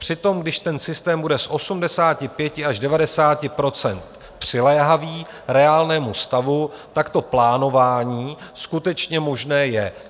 Přitom když ten systém bude z 85 až 90 % přiléhavý reálnému stavu, tak to plánování skutečně možné je.